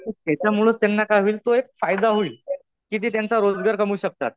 त्याच्यामुळंच त्यांना काय होईल त्यांना तो एक फायदा होईल. कि ते त्यांचा रोजगार कमवू शकतात.